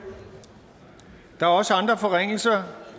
der er også andre forringelser